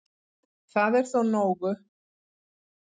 Það er þó nógu